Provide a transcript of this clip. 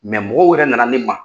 Mɛ mɔgɔw yɛrɛ nana ne ma